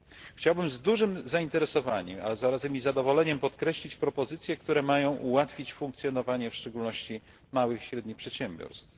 Chciałbym z dużym zainteresowaniem, a zarazem i zadowoleniem, podkreślić propozycje, które mają ułatwić funkcjonowanie w szczególności małych i średnich przedsiębiorstw.